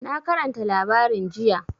Na karanta labarin jiya.